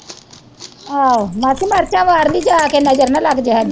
ਆਹੋ ਮਾਸੀ ਮਿਰਚਾਂ ਵਾਰ ਲਈ ਜਾ ਕੇ ਨਜ਼ਰ ਨਾ ਲੱਗ ਜੇ ਹਾਡੀ